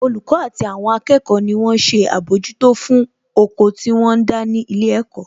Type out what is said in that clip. Olùkọ́ àti àwọn akẹ́kọ̀ọ́ ni wón ṣe àbójútó fún oko tí wọ́n ń dá ní ilé ẹ̀kọ́